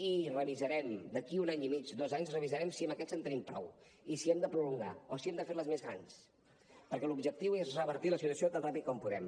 i revisarem d’aquí un any i mig dos anys revisarem si amb aquests en tenim prou i si hem de prolongar o si hem de fer les més grans perquè l’objectiu és revertir la situació tan ràpid com puguem